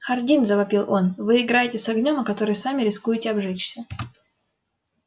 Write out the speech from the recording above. хардин завопил он вы играете с огнём о который сами рискуете обжечься